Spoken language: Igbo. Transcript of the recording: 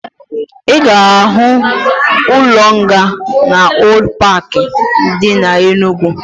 Ị ga-ahụ ụlọ nga na Old paaki dị na Enugwu